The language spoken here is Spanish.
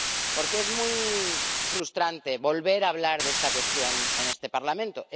Porque es muy frustrante volver a hablar de esta cuestión en este Parlamento.